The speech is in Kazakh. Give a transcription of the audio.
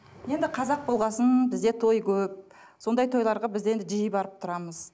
енді қазақ болған соң бізде той көп сондай тойларға біз енді жиі барып тұрамыз